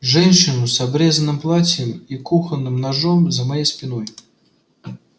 женщину с обрезанным платьем и кухонным ножом за моей спиной